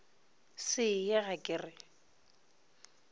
se ye ga ke re